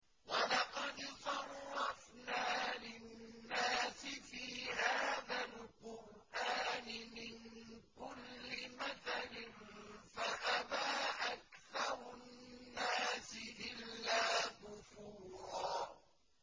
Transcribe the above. وَلَقَدْ صَرَّفْنَا لِلنَّاسِ فِي هَٰذَا الْقُرْآنِ مِن كُلِّ مَثَلٍ فَأَبَىٰ أَكْثَرُ النَّاسِ إِلَّا كُفُورًا